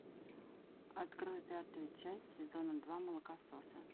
открой пятую часть сезона два молокососы